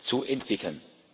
zu entwickeln,